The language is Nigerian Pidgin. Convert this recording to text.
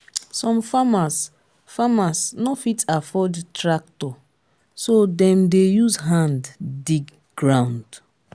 some farmers farmers no fit afford tractor so dem dey use hand dig ground